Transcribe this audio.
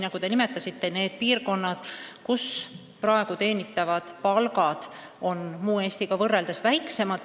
Nagu te ütlesite, need on piirkonnad, kus praegu teenitavad palgad on väiksemad kui mujal Eestis.